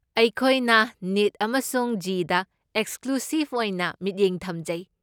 ꯑꯩꯈꯣꯏꯅ ꯅꯤꯠ ꯑꯃꯁꯨꯡ ꯖꯤꯗ ꯑꯦꯛꯁꯀ꯭ꯂꯨꯁꯤꯞ ꯑꯣꯏꯅ ꯃꯤꯠꯌꯦꯡ ꯊꯝꯖꯩ꯫